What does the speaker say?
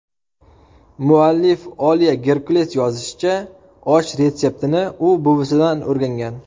Muallif Oliya Gerkules yozishicha, osh retseptini u buvisidan o‘rgangan.